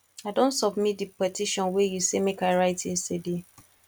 i don submit the petition wey you say make i write yesterday